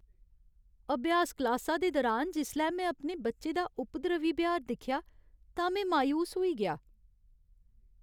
अभ्यास क्लासा दे दरान जिसलै में अपने बच्चे दा उपद्रवी ब्यहार दिक्खेआ तां में मायूस होई गेआ।